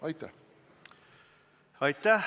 Aitäh!